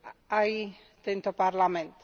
aj tento parlament.